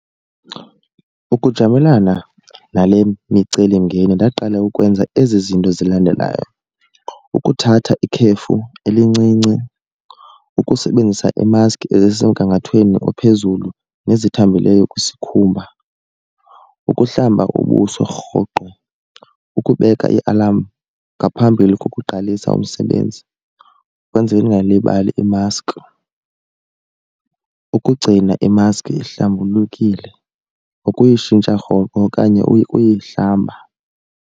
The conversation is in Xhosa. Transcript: Ukujamelana nale micelimngeni ndaqale ukwenza ezi zinto zilandelayo. Ukuthatha ikhefu elincinci, ukusebenzisa ii-mask ezisemgangathweni ophezulu nezithambileyo kwisikhumba, ukuhlamba ubuso rhoqo, ukubeka ialamu ngaphambili kokuqalisa umsebenzi kwenzele ndingalibali imaski, ukugcina imaski ihlambulukile, nokuyitshintsha rhoqo okanye uyihlamba.